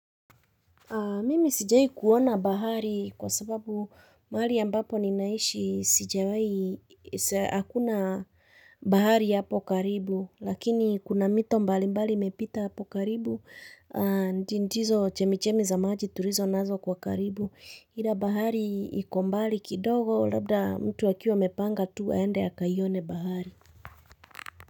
Mimi sijawai kuona bahari kwa sababu mahali ambapo ninaishi sijawai hakuna bahari hapo karibu, lakini kuna mito mbali mbali imepita hapo karibu, ndizo chemichemi za maji tulizo nazo kwa karibu, ila bahari iko mbali kidogo labda mtu akiwa amepanga tu aende akaione bahari.